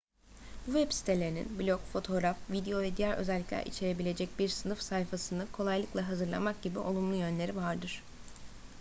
bu web sitelerinin blog fotoğraf video ve diğer özelikler içerebilecek bir sınıf sayfasını kolaylıkla hazırlamak gibi olumlu yönleri vardır